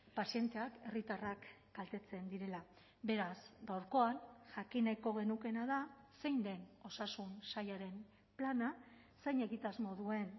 pazienteak herritarrak kaltetzen direla beraz gaurkoan jakin nahiko genukeena da zein den osasun sailaren plana zein egitasmo duen